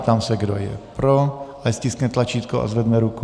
Ptám se, kdo je pro, ať stiskne tlačítko a zvedne ruku.